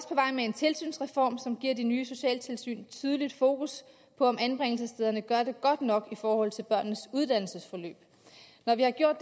med en tilsynsreform som giver de nye socialtilsyn et tydeligt fokus på om anbringelsesstederne gør det godt nok i forhold til børnenes uddannelsesforløb når vi har gjort